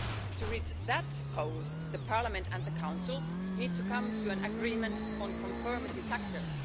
To reach that goal, the Parliament and the Council need to come to an agreement on conformity factors.